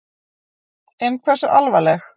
En hversu alvarleg?